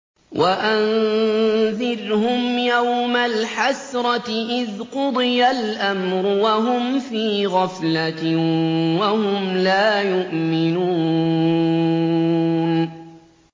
وَأَنذِرْهُمْ يَوْمَ الْحَسْرَةِ إِذْ قُضِيَ الْأَمْرُ وَهُمْ فِي غَفْلَةٍ وَهُمْ لَا يُؤْمِنُونَ